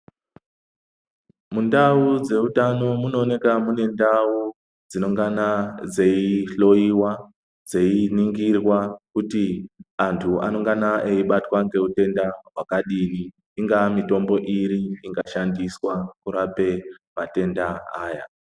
Mundau dzeutano munooneka munendau dzinongana dzeihloyiwa dzeiningirwa kuti antu anongana eibatwa ngeutenda hwakadini. Ingaa mitombo iri ingashandiswe kurape matenda aya.